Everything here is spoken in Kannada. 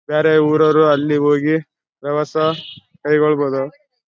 ಬ್ಯಾರೆ ಉರವ್ರು ಅಲ್ಲಿ ಹೋಗಿ ವ್ಯವಸ ಕೈಗೊಳ್ಳಬಹುದು .